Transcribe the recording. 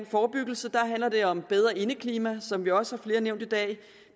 forebyggelse handler det om et bedre indeklima som vi også har hørt flere nævne i dag